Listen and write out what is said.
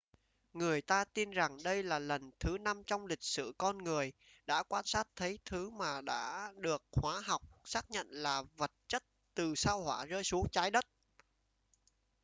người ta tin rằng đây là lần thứ năm trong lịch sử con người đã quan sát thấy thứ mà đã được hóa học xác nhận là vật chất từ sao hỏa rơi xuống trái đất